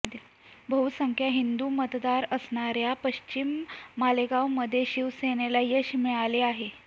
बहुसंख्य हिंदू मतदार असणाऱया पश्चिम मालेगावमध्ये शिवसेनेला यश मिळाले आहे